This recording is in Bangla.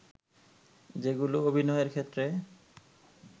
যেগুলো অভিনয়ের ক্ষেত্রে